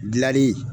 Gilali